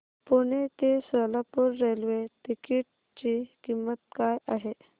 पुणे ते Solapur railway ticket ची किंमत काय आहे